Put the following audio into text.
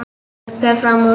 Fer fram úr.